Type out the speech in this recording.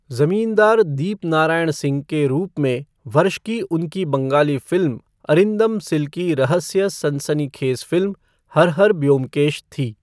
ज़मींदार दीपनारायण सिंह के रूप में वर्ष की उनकी बंगाली फ़िल्म अरिंदम सिल की रहस्य सनसनीखेज़ फ़िल्म हर हर ब्योमकेश थी।